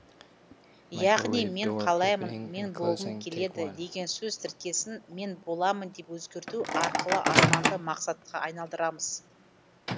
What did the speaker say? яғни мен қалаймын мен болғым келеді деген сөз тіркесін мен боламын деп өзгерту арқылы арманды мақсатқа айналдырамыз